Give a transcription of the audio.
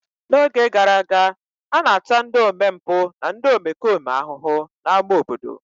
N'oge gara aga, a na-ata ndị omempụ na ndị omekome ahụhụ n'ámá obodo.